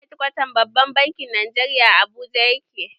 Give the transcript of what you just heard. Hedkwatan babban bankin Najeriya a Abuja ya ke